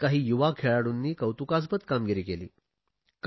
यात काही युवा खेळाडूंनी कौतुकास्पद कामगिरी केली